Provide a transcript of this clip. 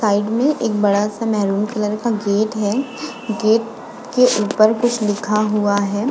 Side में एक बड़ा सा मेरून कलर का गेट है। गेट के ऊपर कुछ लिखा हुआ है।